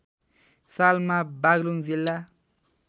सालमा बाग्लुङ जिल्ला